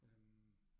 Øh